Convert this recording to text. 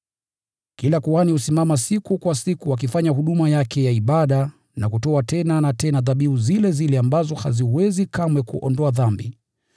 Kila kuhani husimama siku kwa siku akifanya huduma yake ya ibada, na kutoa tena na tena dhabihu zile zile ambazo haziwezi kamwe kuondoa dhambi.